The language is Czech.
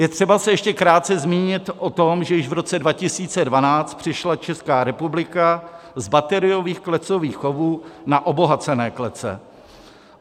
Je třeba se ještě krátce zmínit o tom, že již v roce 2012 přešla Česká republika u bateriových klecových chovů na obohacené klece.